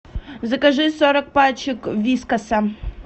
закажи сорок пачек вискаса